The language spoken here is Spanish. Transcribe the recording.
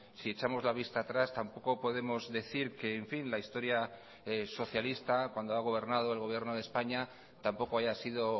si echamos la vista atrás tampoco podemos decir que en fin la historia socialista cuando ha gobernado el gobierno de españa tampoco haya sido